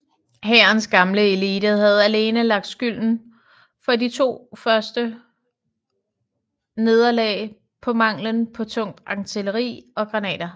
Hærens gamle elite havde alene lagt skylden for de første to års nederlag på mangelen på tungt artilleri og granater